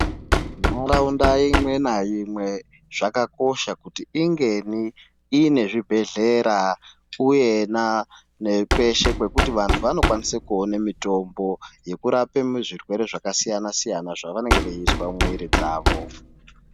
Nharaunda imwe naimwe zvakakosha kuti inge ine zvibhedhkera uyena nekweshe kwekuti vandu vanokwanise kuona mitombo yekurape zvirwere zvakasiyana siyana kutohina zvavanenge veyizwa mumiwiri dzavo.